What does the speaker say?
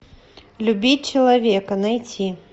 любить человека найти